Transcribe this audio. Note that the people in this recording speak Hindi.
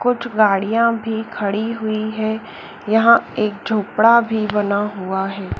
कुछ गाड़ियां भी खड़ी हुई है यहां एक झोपड़ा भी बना हुआ है।